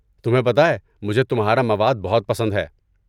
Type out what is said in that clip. تمہیں پتہ ہے مجھے تمہارا مواد بہت پسند ہے۔